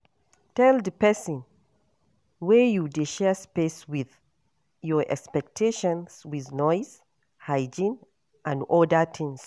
Tell di person wey you dey share space with your expectations with noise, hygiene and oda things